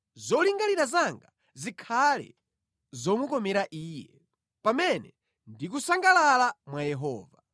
Zolingalira zanga zikhale zomukomera Iye, pamene ndikusangalala mwa Yehova.